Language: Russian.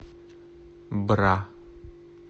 бра